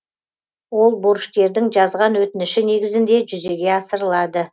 ол борышкердің жазған өтініші негізінде жүзеге асырылады